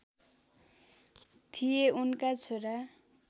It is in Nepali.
थिए उनका छोरा